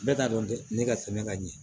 Bɛɛ t'a dɔn dɛ ne ka tɛmɛ ka ɲɛ